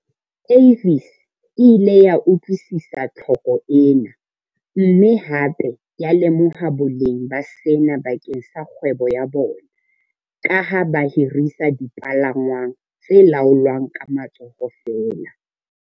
Avis e ile ya utlwisisa tlhoko ena, mme hape ya lemoha boleng ba sena bakeng sa kgwebo ya bona, ka ha ba hirisa dipalangwang tse laolwang ka matsoho feela.